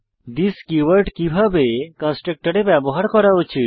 this keyword কিভাবে কন্সট্রকটরে ব্যবহার করা উচিত